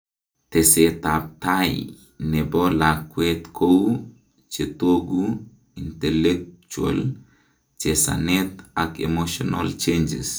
tesetab tai nebo lakwet kou:chetogu, intellectual, chesanet ak emotional changes